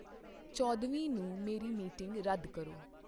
ਚੌਦ੍ਹਵੀਂ ਨੂੰ ਮੇਰੀ ਮੀਟਿੰਗ ਰੱਦ ਕਰੋ।